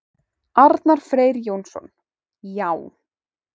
Arnar Freyr Jónsson: Já.